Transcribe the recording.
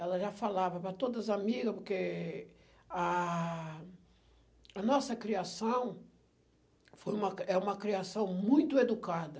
Ela já falava para todas as amiga, porque a a nossa criação foi uma, é uma criação muito educada.